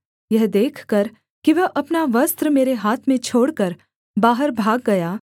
यह देखकर कि वह अपना वस्त्र मेरे हाथ में छोड़कर बाहर भाग गया